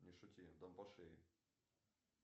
не шути дам по шее